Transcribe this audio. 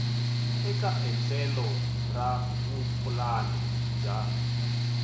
eka endlelo ra vupulani bya